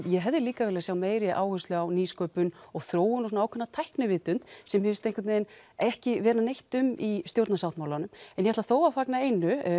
ég hefði líka viljað sjá meiri áherslu á nýsköpun og þróun og svona ákveðna tæknivitund sem mér finnst einhvern veginn ekki vera neitt um í stjórnarsáttmálanum en ég ætla þó að fagna einu